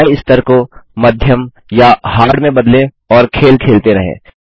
कठिनाई स्तर को मीडियम या हार्ड में बदलें और खेल खेलते रहें